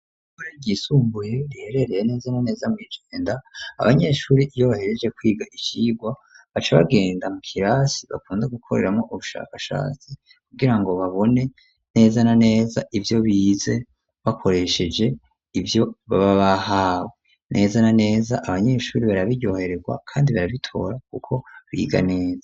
Ryisumbuye riherereye neza na neza mwi Jenda abanyeshuri iyo bahejeje kwiga icirwa baca bagenda mu kirasi bakunda gukoreramo ubushakashatsi kugira ngo babone neza na neza ivyo bize bakoresheje ivyo baba bahawe neza na neza abanyeshuri barabiryohererwa kandi barabitora kuko biga neza.